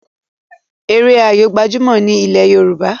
Eré Ayó gbajumo ní ilè yorùbá